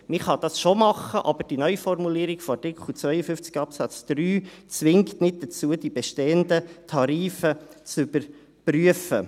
Man kann dies schon tun, aber die Neuformulierung von Artikel 52 Absatz 3 zwingt nicht dazu, die bestehenden Tarife zu überprüfen.